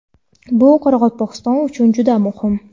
Bu Qoraqalpog‘iston uchun juda muhim.